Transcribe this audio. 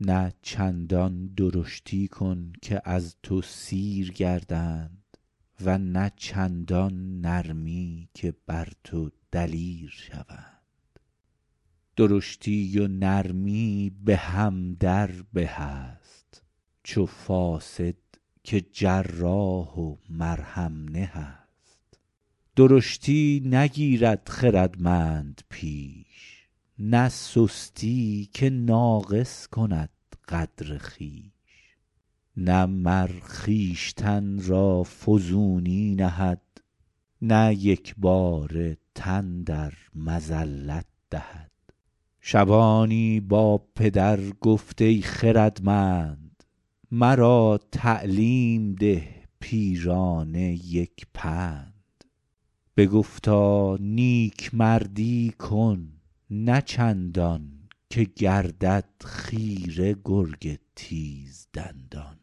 نه چندان درشتی کن که از تو سیر گردند و نه چندان نرمی که بر تو دلیر شوند درشتی و نرمی به هم در به است چو فاصد که جراح و مرهم نه است درشتی نگیرد خردمند پیش نه سستی که ناقص کند قدر خویش نه مر خویشتن را فزونی نهد نه یکباره تن در مذلت دهد شبانی با پدر گفت ای خردمند مرا تعلیم ده پیرانه یک پند بگفتا نیکمردی کن نه چندان که گردد خیره گرگ تیز دندان